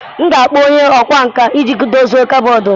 M ga-akpọ onye ọkwá nkà iji dozie kọbọd.